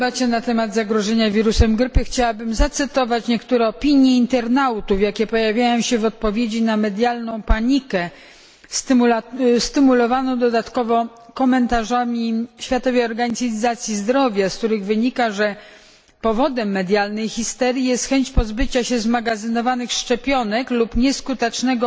W debacie na temat zagrożenia wirusem grypy chciałabym zacytować niektóre opinie internautów, jakie pojawiają się w odpowiedzi na medialną panikę stymulowaną dodatkowo komentarzami Światowej Organizacji Zdrowia, z których wynika, że powodem medialnej histerii jest chęć pozbycia się zmagazynowanych szczepionek lub nieskutecznego